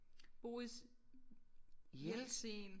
Boris Jeltsin